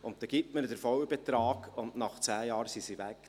Dann gibt man ihnen den vollen Betrag und nach 10 Jahren sind sie weg.